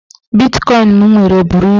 Bitkọin m nwere buru ibu.